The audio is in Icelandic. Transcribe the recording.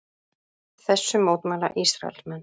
Þessu mótmæla Ísraelsmenn